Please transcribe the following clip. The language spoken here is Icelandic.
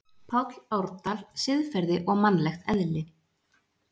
Páll Árdal, Siðferði og mannlegt eðli.